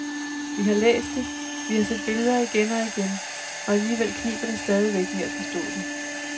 Vi har læst det, vi har set billeder igen og igen, og alligevel kniber det stadigvæk med at forstå det.